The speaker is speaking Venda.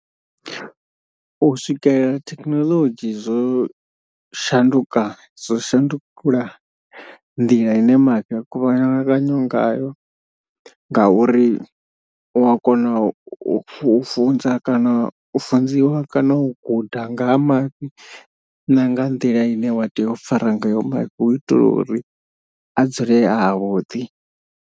U swikelela thekhinolodzhi zwo shanduka zwo shandula nḓila ine mafhi a kuvhanganywa ngayo. Ngauri wa kona u funza kana u funziwa kana u guda nga ha mafhi na nga nḓila ine wa tea u fara ngayo mafhi hu u itela uri a dzule avhuḓi.